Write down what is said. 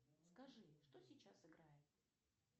скажи что сейчас играет